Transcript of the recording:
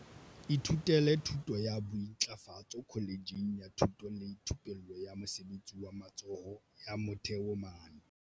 ithutile thuto ya bointlafatso kholetjheng ya thuto le thupello ya mosebetsi wa matsoho ya Motheo mane